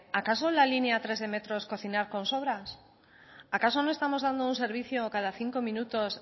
acaso la línea tres de metro es cocinar con sobras acaso no estamos dando un servicio cada cinco minutos